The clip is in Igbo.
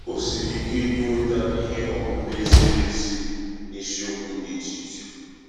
O siri ike inweta ihe ọmụma ziri um ezi n’isiokwu dị iche iche.